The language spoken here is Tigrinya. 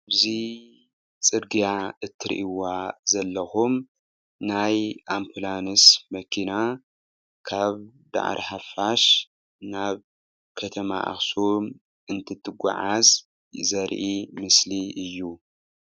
እዚ ፅርግያ እትሪእይዋ ዘለኩም ናይ አምቡላንስ መኪና ካብ ዳዕሮ ሓፊሽ ናብ ከተማ አክሱም እንትትጓዓዝ ዘርኢ ምስሊ እዩ።